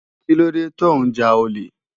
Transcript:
Kilódé tó n já ólé?